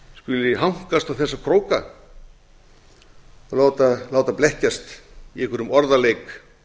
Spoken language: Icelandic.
íslendingar skuli hankast á þessa króka að láta blekkjast í einhverjum orðaleik